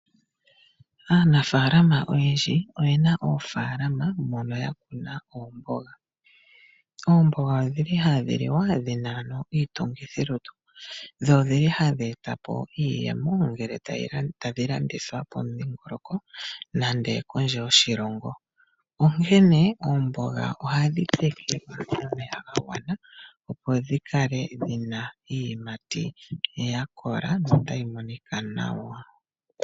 Aanafaalama oyendji oye na oofaalama mono ya kuna oomboga. Oomboga odhi li hadhi liwa dhina ano iitungithilutu dho odhili hadhi eta iiyemo ngele tadhi landithwa pomudhingoloko nenge kondje yoshilongo, onkene oomboga ohadhi tekelwa omeya ga gwana, opo dhi kale dhina iiyimati ya kola notayi monika nawa.